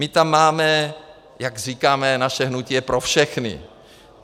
My tam máme - jak říkáme, naše hnutí je pro všechny.